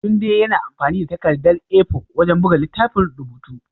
Tunde yana amfani da takardar A4 wajen buga littafin rubutu.